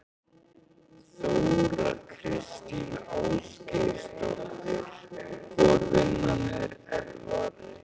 Þóra Kristín Ásgeirsdóttir: Hvor vinnan er erfiðari?